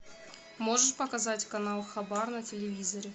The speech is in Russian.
можешь показать канал хабар на телевизоре